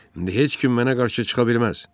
İndi heç kim mənə qarşı çıxa bilməz.